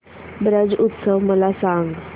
ब्रज उत्सव मला सांग